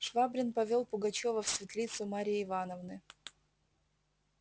швабрин повёл пугачёва в светлицу марьи ивановны